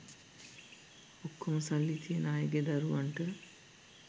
ඔක්කොම සල්ලි තියන අයගේ දරුවන්ට